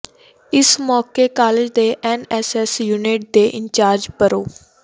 ਇਸ ਮੌਕੇ ਕਾਲਜ ਦੇ ਐੱਨਐੱਸਐੱਸ ਯੂਨਿਟ ਦੇ ਇੰਚਾਰਜ ਪ੍ਰਰੋ